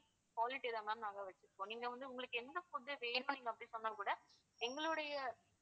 quality தான் ma'am நாங்க வெச்சிருப்போம். நீங்க வந்து உங்களுக்கு எந்த food வேணும் நீங்க அப்படி சொன்னா கூட எங்களுடைய